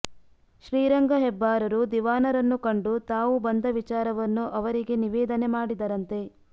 ಶ್ರೀ ರಂಗ ಹೆಬ್ಬಾರರು ದಿವಾನರನ್ನು ಕಂಡು ತಾವು ಬಂದ ವಿಚಾರವನ್ನು ಅವರಿಗೆ ನಿವೇದನೆ ಮಾಡಿದರಂತೆ